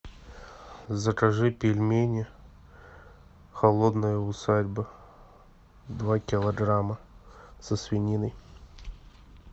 закажи пельмени холодная усадьба два килограмма со свининой